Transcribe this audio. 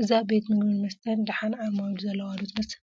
እዛ ቤት ምግብን መስተን ደሓን ዓማዊል ዘለዉዋ ዶ ትመስል?